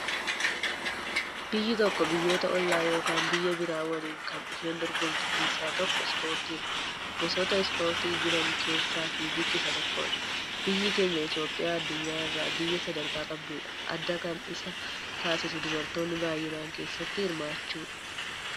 Biyyi tokko biyyoota ollaa ykn biyya biraa waliin kan isheen dorgomtu keessa tokko ispoortiidha gosoota ispoortii jiran keessa fiigichi isa tokkodha. Biyyi keenya Itoophiyaa Adunyaa irraa biyya sadarkaa qabdudha. adda kan isa taasisu dubartoonni baayyinaan keessatti hirmaachuudha.